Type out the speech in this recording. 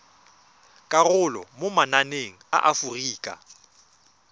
karolo mo mananeng a aforika